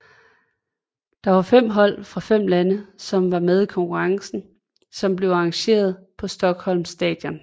Der var fem hold fra fem lande som var med i konkurrencen som blev arrangeret på Stockholms stadion